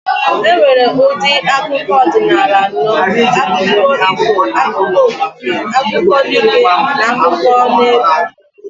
E nwere ụdị akụkọ ọdịnala anọ. Akụkọ ifo, akụkọ okike, akụkọ dike, n'akụkọneegwụ